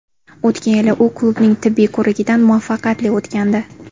O‘tgan yili u klubning tibbiy ko‘rigidan muvaffaqiyatli o‘tgandi.